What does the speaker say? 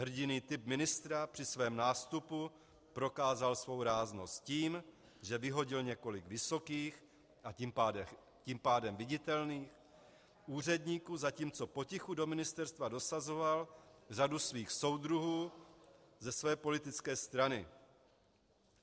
Hrdinný typ ministra při svém nástupu prokázal svou ráznost tím, že vyhodil několik vysokých, a tím pádem viditelných úředníků, zatímco potichu do ministerstva dosazoval řadu svých soudruhů ze své politické strany.